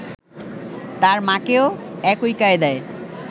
তার মাকেও একই কায়দায়